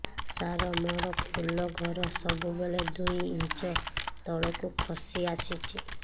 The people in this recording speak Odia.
ସାର ମୋର ଫୁଲ ଘର ସବୁ ବେଳେ ଦୁଇ ଇଞ୍ଚ ତଳକୁ ଖସି ଆସିଛି